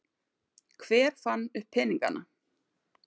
Hver fann upp peningana?